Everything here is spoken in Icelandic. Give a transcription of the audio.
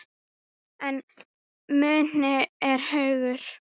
En muni er hugur.